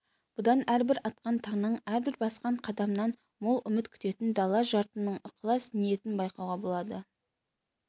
бұдан әрбір атқан таңнан әрбір басқан қадамнан мол үміт күтетін дала жұртының ықылас-ниетін байқауға болады